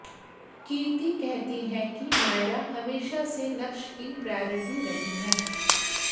कीर्ती कहती है कि नायरा हमेशा से नक्श कीप्रायॉरिटी रही हैं